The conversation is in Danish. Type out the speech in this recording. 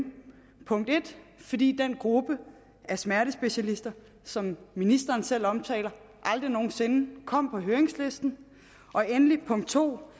punkt en fordi den gruppe af smertespecialister som ministeren selv omtaler aldrig nogen sinde kom på høringslisten og endelig punkt to